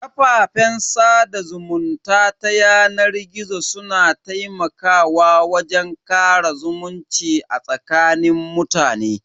Kafafen sada zumunta ta yanar gizo su na taimakawa wajen kara zumunci a tsakanin mutane.